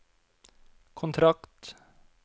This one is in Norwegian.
kontrakt